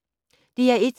DR1